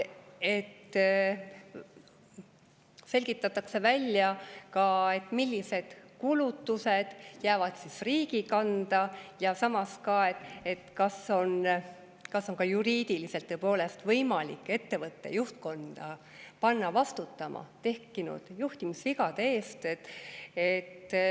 Selgitatakse välja ka see, millised kulutused jäävad riigi kanda, ja samas, kas on juriidiliselt tõepoolest võimalik ettevõtte juhtkonda panna vastutama tekkinud juhtimisvigade eest.